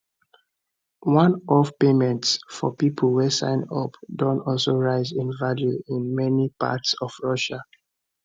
oneoff payments for pipo wey sign up don also rise in value in many parts of russia